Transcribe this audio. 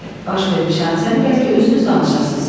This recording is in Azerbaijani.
Baş vermiş hadisəni bəlkə özünüz danışasız?